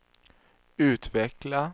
utveckla